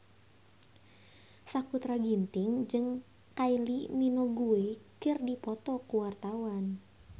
Sakutra Ginting jeung Kylie Minogue keur dipoto ku wartawan